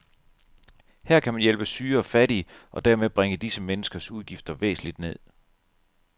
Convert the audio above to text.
Her kan man hjælpe syge og fattige, og dermed bringe disse menneskers udgifter væsentligt ned.